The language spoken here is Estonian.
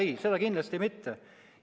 Ei, seda kindlasti mitte.